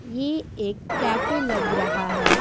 ये एक कैफे लग रहा है।